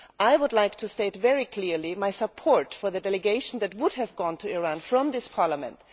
I would like to state very clearly my support for the delegation that would have gone to Iran from this Parliament.